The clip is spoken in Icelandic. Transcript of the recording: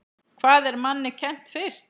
Hvað er manni kennt fyrst?